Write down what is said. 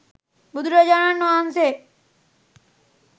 බුදුරජාණන් වහන්සේ